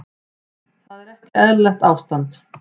Að mínu mati snýst þetta um hundsa ekki neitt.